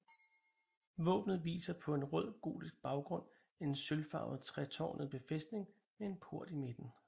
Våbnet viser på en rød gotisk baggrund en sølvfarvet tretårnet befæstning med en port i midten